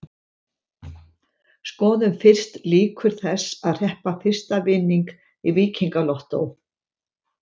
Skoðum fyrst líkur þess að hreppa fyrsta vinning í Víkingalottó.